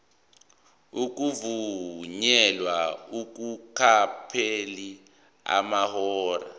ukuvunyelwa kungakapheli amahora